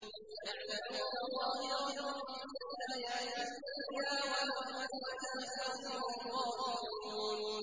يَعْلَمُونَ ظَاهِرًا مِّنَ الْحَيَاةِ الدُّنْيَا وَهُمْ عَنِ الْآخِرَةِ هُمْ غَافِلُونَ